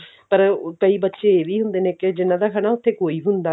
ਪਰ ਕਈ ਬੱਚੇ ਇਹ ਵੀ ਹੁੰਦੇ ਨੇ ਕਿ ਜਿਹਨਾ ਦਾ ਉੱ ਥੇ ਕੋਈ ਵੀ ਨੀ